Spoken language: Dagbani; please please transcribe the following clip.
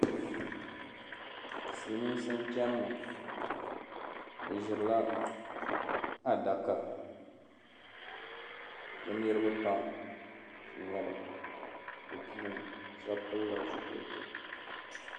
Silimiinsi n-chani ŋɔ bɛ ʒirila adaka bɛ niriba pam n-nyɛ ba bɛ puuni shɛba pilila zupiliti.